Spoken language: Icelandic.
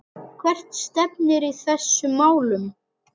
Hvert stefnir í þessum málum?